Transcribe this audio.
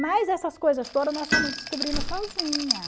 Mas essas coisas todas nós fomos descobrindo sozinha.